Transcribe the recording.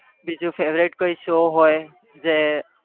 બીજું favourite કોઈ show હોય જે